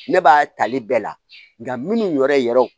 Ne b'a tali bɛɛ la nka minnu yɛrɛ yɛrɛw